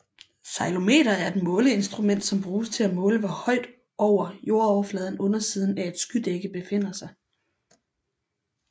Ceilometer er et måleinstrument som bruges til måle hvor højt over jordoverfladen undersiden af et skydække befinder sig